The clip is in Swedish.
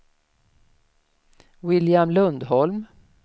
William Lundholm